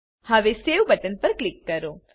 હવે save button પર click કરો